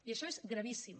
i això és gravíssim